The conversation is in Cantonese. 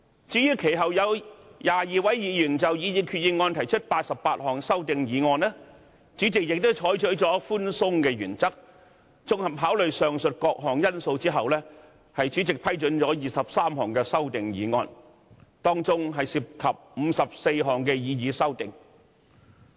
至於其後有22位議員就擬議決議案提出88項修正案，主席亦採取了寬鬆的原則，綜合考慮上述各項因素後批准提出23項議案，當中涉及54項擬議修正案。